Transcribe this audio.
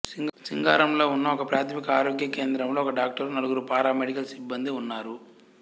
సింగారంలో ఉన్న ఒకప్రాథమిక ఆరోగ్య కేంద్రంలో ఒక డాక్టరు నలుగురు పారామెడికల్ సిబ్బందీ ఉన్నారు